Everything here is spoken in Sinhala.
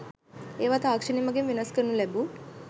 ඒවා තාක්ෂණය මගින් වෙනස් කරනු ලැබූ